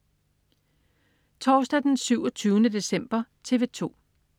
Torsdag den 27. december - TV 2: